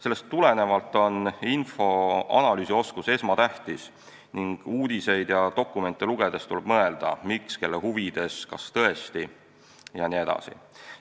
Sellest tulenevalt on infoanalüüsi oskus esmatähtis ning uudiseid ja dokumente lugedes tuleb mõelda, miks, kelle huvides, kas tõesti jne.